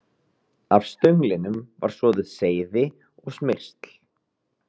Af stönglinum var soðið seyði og smyrsl.